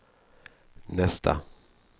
nästa